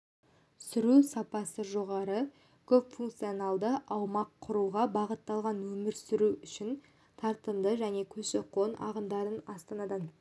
сүру сапасы жоғары көпфункционалды аумақ құруға бағытталған өмір сүру үшін тартымды және көші-қон ағындарын астанадан